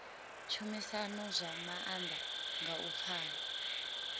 tshumisano zwa maanḓa nga u pfana